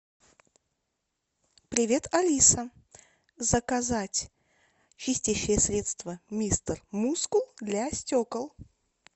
привет алиса заказать чистящее средство мистер мускул для стекол